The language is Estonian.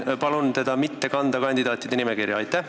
Palun teda mitte kanda kandidaatide nimekirja!